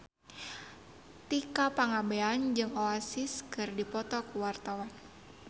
Tika Pangabean jeung Oasis keur dipoto ku wartawan